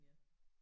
Ja